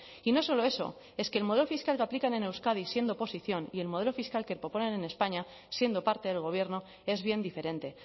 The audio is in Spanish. y no solo eso es que el modelo fiscal que aplican en euskadi siendo oposición y el modelo fiscal que proponen en españa siendo parte del gobierno es bien diferente